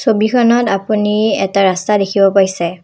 ছবিখনত আপুনি এটা ৰাস্তা দেখিব পাইছে।